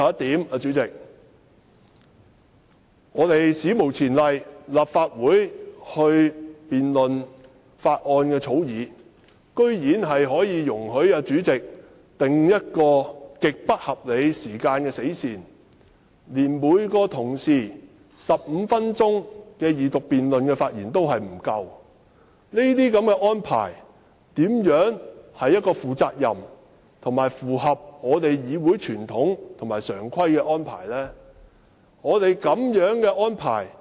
代理主席，最後，立法會就這項《條例草案》進行辯論，主席居然史無前例地訂了極不合理的死線，令每位同事在二讀辯論時的發言時間根本不足15分鐘，這是負責任及符合議會傳統和常規的安排嗎？